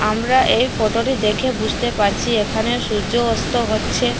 আমরা এই ফটোটি দেখে বুঝতে পারছি এখানে সূর্য অস্ত হচ্ছে।